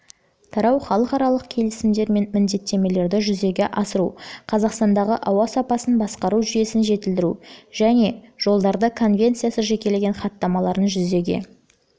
тарау халықаралық келісімдер мен міндеттемелерді жүзеге асыру қазақстандағы ауа сапасын басқару жүйесін жетілдіру және жылдары конвенциясы жекелеген хаттамаларын жүзеге